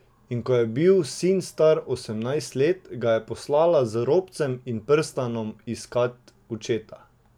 In ko je bil sin star osemnajst let, ga je poslala z robcem in prstanom iskat očeta.